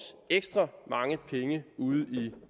ekstra mange penge ude i